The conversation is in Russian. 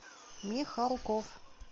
михалков